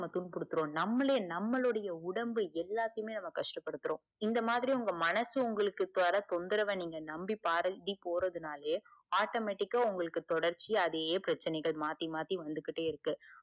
எல்லாருக்கு குடுத்துடுவோம் நம்மலே நம்மலுடைய உடம்பு எல்லாத்தையுமே நாம்ம கஷ்ட படுத்துரோம். இந்த மாதிரி உங்க மனசு உங்களுக்கு தர தொந்தரவ நீங்க நம்பி போரதுனாலையே automatic ஆ உங்களுக்கு தொடர்ச்சியா அதே பிரச்சனைகள் மாத்தி மாத்தி வந்துகிட்டே இருக்கு.